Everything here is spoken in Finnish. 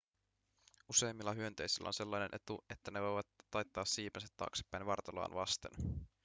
useimmilla hyönteisillä on sellainen etu että ne voivat taittaa siipensä taaksepäin vartaloaan vasten